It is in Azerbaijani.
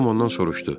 Tom ondan soruşdu: